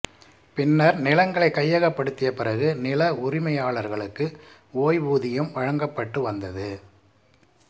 பின்னர் நிலங்களை கையகப்படுத்திய பிறகு நில உரிமையாளர்களுக்கு ஓய்வூதியம் வழங்கப்பட்டு வந்தது